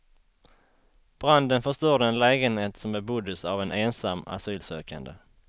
Branden förstörde en lägenhet, som beboddes av en ensam asylsökande.